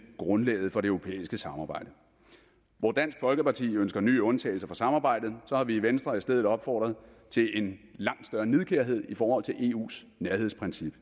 grundlaget for det europæiske samarbejde hvor dansk folkeparti ønsker nye undtagelser for samarbejdet har vi i venstre i stedet opfordret til en langt større nidkærhed i forhold til eus nærhedsprincip